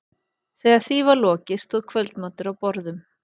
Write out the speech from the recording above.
Þegar því var lokið stóð kvöldmatur á borðum.